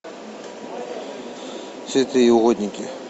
святые угодники